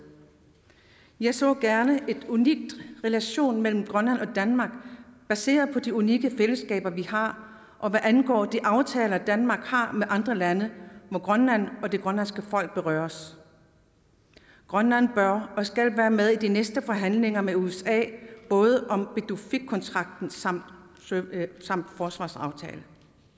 jeg så gerne en unik relation mellem grønland og danmark baseret på de unikke fællesskaber vi har og hvad angår de aftaler danmark har med andre lande hvor grønland og det grønlandske folk berøres grønland bør og skal være med i de næste forhandlinger med usa både om pituffikkontrakten samt forsvarsaftalen